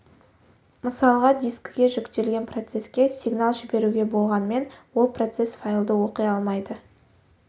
мысалға дискіге жүктелген процеске сигнал жіберуге болғанмен ол процесс файлды оқи алмайды